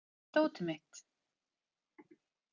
Elmar, hvar er dótið mitt?